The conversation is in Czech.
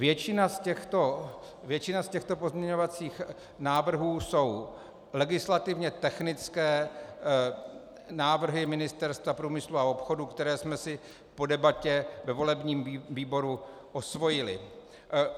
Většina z těchto pozměňovacích návrhů jsou legislativně technické návrhy Ministerstva průmyslu a obchodu, které jsme si po debatě ve volebním výboru osvojili.